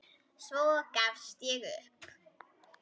Svo gafst ég upp.